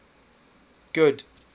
good